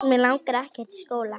Mig langar ekkert í skóla.